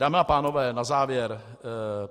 Dámy a pánové, na závěr.